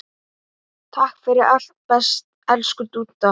Takk fyrir allt, elsku Dúdda.